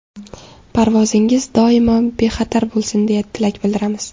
Parvozingiz doimo bexatar bo‘lsin deya tilak bildiramiz!